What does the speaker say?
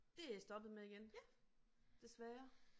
Det jeg stoppet med igen desværre